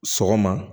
Sɔgɔma